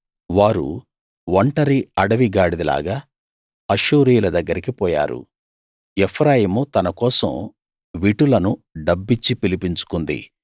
వారు ఒంటరి అడవి గాడిదలాగా అష్షూరీయుల దగ్గరికి పోయారు ఎఫ్రాయిము తన కోసం విటులను డబ్బిచ్చి పిలిపించుకుంది